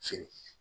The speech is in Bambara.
Feere